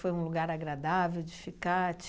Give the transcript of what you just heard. um lugar agradável de ficar?